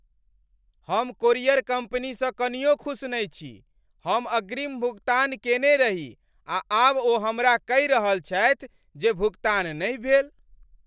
हम कोरियर कम्पनीसँ कनियो खुस नहि छी। हम अग्रिम भुगतान केने रही आ आब ओ हमरा कहि रहल छथि जे भुगतान नहि भेल!